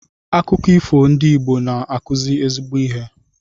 Akụkọ ifo ndị Igbo na-akụzi ezigbo ihe.